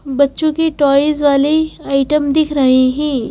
बच्चों की टॉयज वाली आइटम दिख रहे हैं।